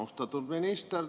Austatud minister!